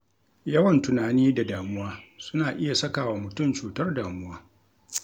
Yawan tunani da damuwa suna iya saka wa mutun cutar damuwa